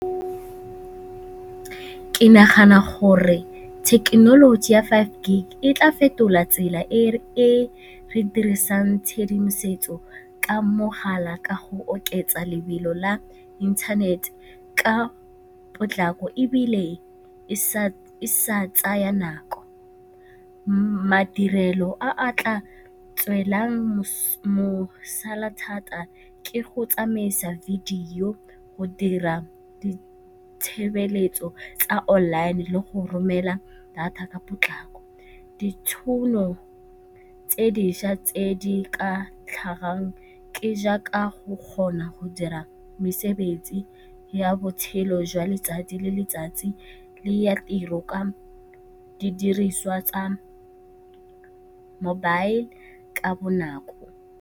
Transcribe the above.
Ke nagana gore thekenoloji ya five gig e tla fetola tsela e re dirisang tshedimosetso ka mogala ka go oketsa lebelo la internet ka potlako, ebile e sa tsaya nako. Madirelo a a tla tswelang mosola thata ke go tsamaisa video go dira tshebeletso tsa online le go romela data ka potlako. Ditšhono tse dišwa tse di ka tlhagang ke jaaka go kgona go dira mesebetsi ya botshelo jwa letsatsi le letsatsi le ya tiro ka didiriswa tsa mobile ka bonako.